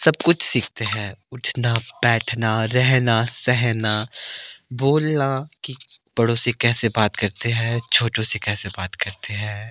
सब कुछ सीखते हैं उठना बैठना रेहना सेहना बोलना की बड़ों से कैसे बात करते हैं छोटों से कैसे बात करते हैं।